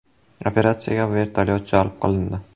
Operatsiyaga vertolyot jalb qilindi.